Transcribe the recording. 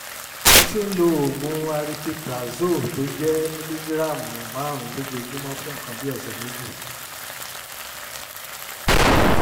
mo ti ń lo oògùn aripiprazole tó jẹ́ mìlígíráàmù márùn-ún lójoojúmọ́ fún nǹkan bí ọ̀sẹ̀ méjì